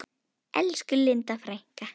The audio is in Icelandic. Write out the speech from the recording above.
Elsku Linda frænka.